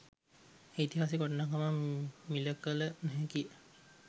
ඓතිහාසික වටිනාකම මිළ කළ නොහැකි ය